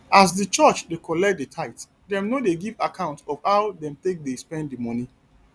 as di church dey collect di tithe dem no dey give account of how dem take dey spend di money